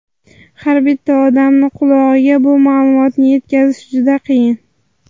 Har bitta odamni qulog‘iga bu ma’lumotni yetkazish juda qiyin.